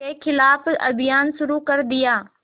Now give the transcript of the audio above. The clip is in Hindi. के ख़िलाफ़ अभियान शुरू कर दिया